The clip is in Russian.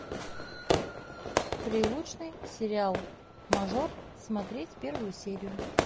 прилучный сериал мажор смотреть первую серию